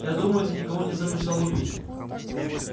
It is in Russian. я думаю ты никого не замышлял убить